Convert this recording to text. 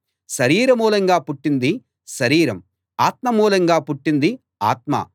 శరీర మూలంగా పుట్టింది శరీరం ఆత్మ మూలంగా పుట్టింది ఆత్మ